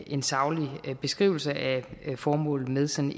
en saglig beskrivelse af formålet med sådan